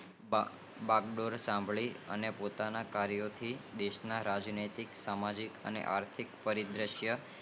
બાગડોળ સાંભળી પોતાની કાર્ય થી રાજ નૈતિક સામાજિક આર્થિક પરિશીતિ